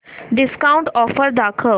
discount offer दाखव